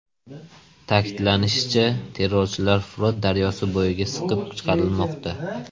Ta’kidlanishicha, terrorchilar Frot daryosi bo‘yiga siqib chiqarilmoqda.